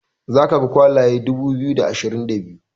za ka ga kwalaye dubu biyu da ashirin da biyu